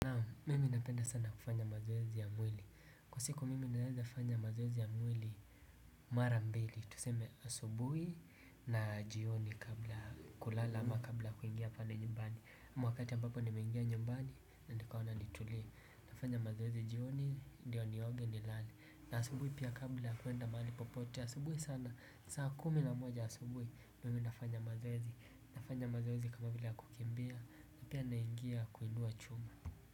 Mimi napenda sana kufanya mazoezi ya mwili. Kwa siku mimi naweza fanya mazoezi ya mwili mara mbili. Tuseme asubui na jioni kabla kulala ama kabla kuingia pale nyumbani. Mwakati ambapo ni mengia nyumbani na nikaona nitulia. Nafanya mazoezi jioni ndio nioge ni lale. Na asubui pia kabla kuenda maali popote asubui sana, saa kumi na moja asubui. Mimi nafanya mazoezi. Nafanya mazoezi kama vila kukimbia. Na pia naingia kuinua chuma.